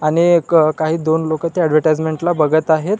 आणि एक काही दोन लोक त्या ऍडव्हर्टाइसमेन्ट ला बघत आहेत.